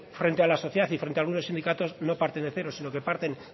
frente a la sociedad y frente a algunos sindicatos no parten de cero sino que parten